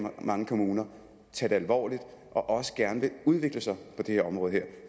mange kommuner tager det alvorligt og også gerne vil udvikle sig på det her område